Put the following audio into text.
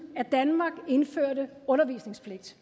at danmark indførte undervisningspligt